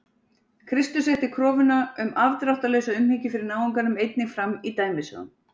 kristur setti kröfuna um afdráttarlausa umhyggju fyrir náunganum einnig fram í dæmisögum